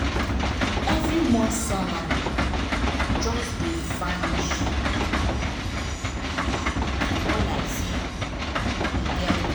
every month salary just dey vanish comot like say e get wings.